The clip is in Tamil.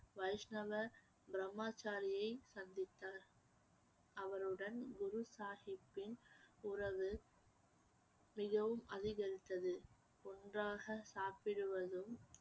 வைஷ்ணவ பிரம்மச்சாரியை சந்தித்தார் அவருடன் குரு சாஹிப்பின் உறவு மிகவும் அதிகரித்தது ஒன்றாக சாப்பிடுவதும்